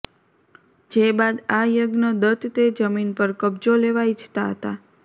જે બાદ આ યજ્ઞ દત્ત તે જમીન પર કબજો લેવા ઇચ્છતા હતા